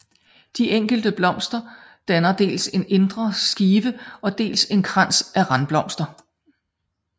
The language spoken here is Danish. De enkelte blomster danner dels en indre skive og dels en krans af randblomster